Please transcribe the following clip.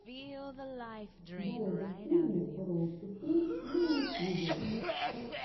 дорога к фильму роуд ту филм на ютьюбе